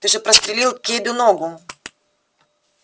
ты же прострелил кэйду ногу